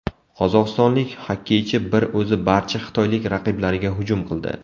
Qozog‘istonlik xokkeychi bir o‘zi barcha xitoylik raqiblariga hujum qildi .